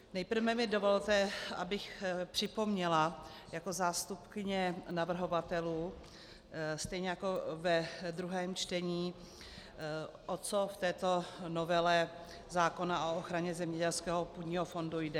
Nejprve mi dovolte, abych připomněla jako zástupkyně navrhovatelů stejně jako ve druhém čtení, o co v této novele zákona o ochraně zemědělského půdního fondu jde.